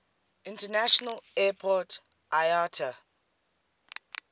international airport iata